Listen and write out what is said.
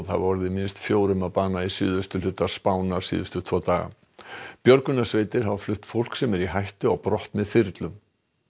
hafa orðið minnst fjórum að bana í suðausturhluta Spánar síðustu tvo daga björgunarsveitir hafa flutt fólk sem er í hættu á brott með þyrlum